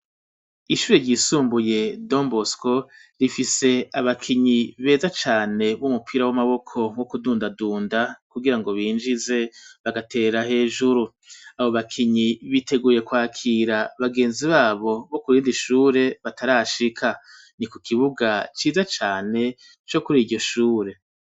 Ishuri ryisumbuye don bosko rifise abakinyi beza cane b'umupira w'amaboko wo kudunda dunda kugirango binjize bagatera hejuru abo bakinyi biteguye kwakira bagenzi babo bo kurindi shuri batarashika ni ku kibuga ciza cane co kuriryo shuri.